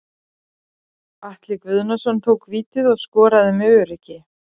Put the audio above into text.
Atli Guðnason tók vítið og skoraði með öruggi.